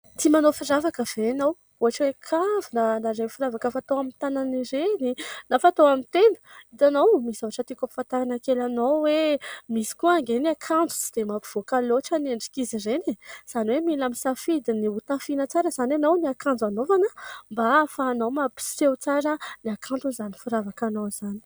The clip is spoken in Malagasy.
Tia manao firavaka ve ianao ? Ohatra hoe : kavina na ireny firavaka fatao amin'ny tanana ireny na fatao amin'ny tenda. Hitanao ! Misy zavatra tiako ampahafantarina kely anao hoe misy koa anie ny akanjo tsy dia mampivoaka loatra ny endrik'izy ireny. Izany hoe mila misafidy ny hotafiana tsara izany ianao. Ny akanjo hanaovana mba ahafahanao mapiseho tsara ny hakanton'izany firavaka anao izany.